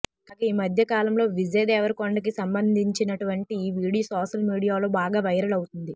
కాగా ఈ మధ్య కాలంలో విజయ్ దేవరకొండ కి సంబంధించినటువంటి ఓ వీడియో సోషల్ మీడియాలో బాగా వైరల్ అవుతోంది